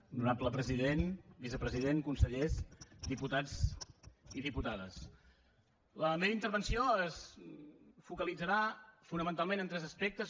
honorable president vicepresident consellers diputats i diputades la meva intervenció es focalitzarà fonamentalment en tres aspectes